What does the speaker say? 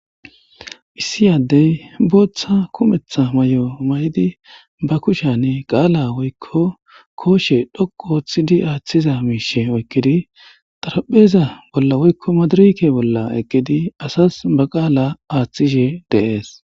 Issi adeyi botha kumeththa mayo mayidi ba kusheni qaala woyikko koshshe dhoqu ooththidi aththiza mishshe oyikidi xaraphpheza woyikko madirekke bola eqidi eqidi asazi baa qaala aththishshe deessi